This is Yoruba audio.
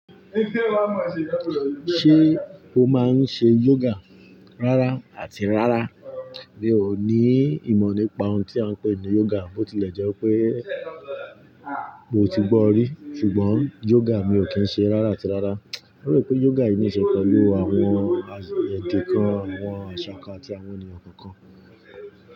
Ṣé o máa ń ṣe yoga? Rárá àti rárá. Mi ò ní ìmọ̀ nípa ohun tí a ń pè ní yoga, bó tilẹ̀ jẹ́ pé mo ti gbọ́ rí. Ṣùgbọ́n yoga, mi ò kí ń ṣe rárá àti rárá. Mo rò pé yoga yìí ní ṣe pẹ̀lú àwọn ẹ̀de kan, àwọn àṣà ká àti àwọn ènìyàn kọ̀ọ̀kan.